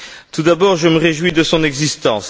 Tout d'abord, je me réjouis de son existence.